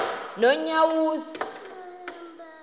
nonyawoza